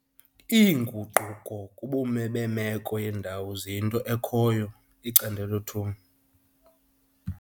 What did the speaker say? Iinguquko kuBume beMeko yeeNdawo - ziyinto ekhoyo, icandelo 2.